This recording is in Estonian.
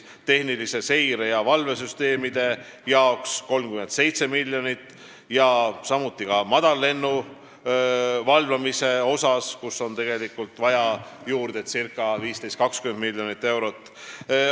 Tehnilise seire- ja valvesüsteemi jaoks kulub veel 37 miljonit, madallennu valvamisele on juurde vaja circa 15–20 miljonit eurot.